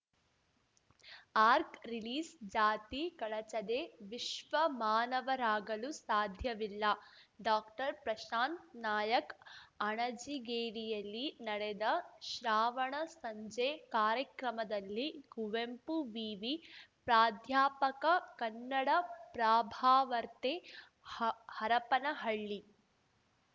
arc ರಿಲೀಸ್‌ಜಾತಿ ಕಳಚದೆ ವಿಶ್ವ ಮಾನವರಾಗಲು ಸಾಧ್ಯವಿಲ್ಲ ಡಾಕ್ಟರ್ಪ್ರಶಾಂತ್‌ ನಾಯಕ್ ಅಣಜಿಗೇರಿಯಲ್ಲಿ ನಡೆದ ಶ್ರಾವಣ ಸಂಜೆ ಕಾರ್ಯಕ್ರಮದಲ್ಲಿ ಕುವೆಂಪು ವಿವಿ ಪ್ರಾಧ್ಯಾಪಕ ಕನ್ನಡಪ್ರಭಾವಾರ್ತೆ ಹರಪ್ಪನಹಳ್ಳಿ